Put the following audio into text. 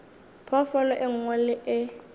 phoofolo e nngwe le e